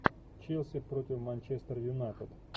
челси против манчестер юнайтед